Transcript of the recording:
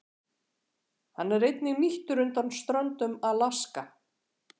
Hann er einnig nýttur undan ströndum Alaska.